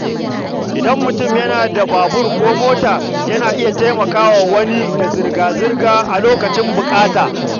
Idan mutum yana da babur ko mota, yana iya taimaka wa wani da zirga-zirga a lokacin buƙata.